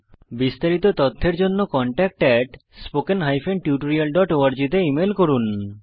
বিস্তারিত তথ্যের জন্য contactspoken tutorialorg তে ইমেল করুন